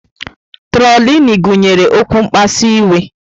Trolini gụnyere okwu mkpasu iwe.